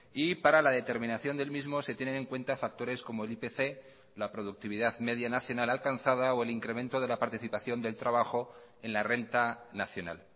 y para la determinación del mismo se tienen en cuenta factores como el ipc la productividad media nacional alcanzada o el incremento de la participación del trabajo en la renta nacional